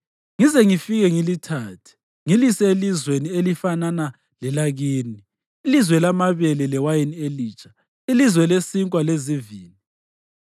ngize ngifike ngilithathe, ngilise elizweni elifanana lelakini, ilizwe lamabele lewayini elitsha, ilizwe lesinkwa lezivini.